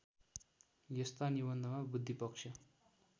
यस्ता निबन्धमा बुद्धिपक्ष